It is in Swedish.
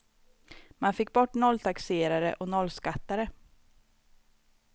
Man fick bort nolltaxerare och nollskattare.